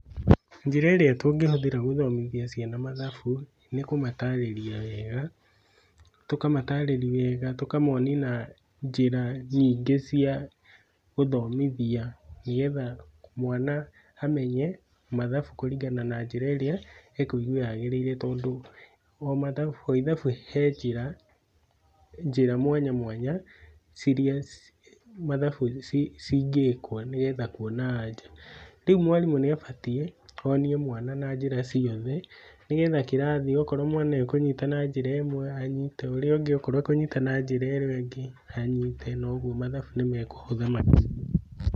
Njĩra ĩrĩa tũngĩhũthĩra gũthomĩthia ciana mathabu nĩ kũmatarĩria wega, tũkamatarĩria wega, tũkamonia na njĩra nyingĩ cia gũthomithia nĩ getha mwana amenye mathabu kũringana na njĩra ĩrĩa ekũigua yagĩrĩire nĩ tondũ o ithabu he njĩra njĩra mwanya mwanya ciria mathabu cingĩkwo nĩ getha kuona anja. Rĩu mwarimũ nĩ abatiĩ onie mwana na njĩra ciothe nĩ getha kĩrathi, okorwo mwana ekũnyĩta na njĩra ĩmwe, anyite, na ũrĩa ũngĩ akorwo ekũnyita na njĩra ĩo ĩngĩ, anyite na ũguo mathabu nĩ mekũhũtha makĩria.